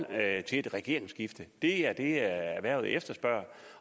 til et regeringsskifte det er det erhvervet efterspørger